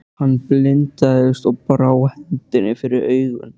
Hann blindaðist og brá hendinni fyrir augun.